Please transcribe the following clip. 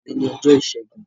Òní ni ọjọ́ Ìṣẹ́gun.